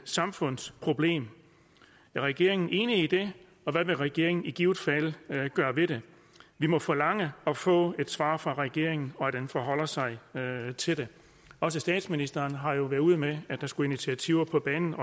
samfundsproblem er regeringen enig i det og hvad vil regeringen i givet fald gøre ved det vi må forlange at få et svar fra regeringen og forlange at den forholder sig til det også statsministeren har jo været ude med at der skulle initiativer på banen